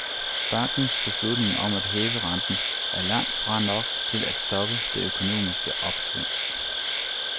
Bankens beslutning om at hæve renten, er langt fra nok til at stoppe det økonomiske opsving.